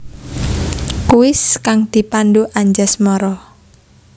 Kuis kang dipandhu Anjasmara